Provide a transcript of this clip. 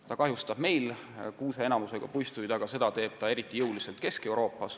Ta kahjustab meil kuuse enamusega puistuid, aga eriti jõuliselt teeb ta seda hetkel Kesk-Euroopas.